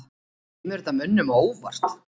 Kemur þetta mönnum á óvart?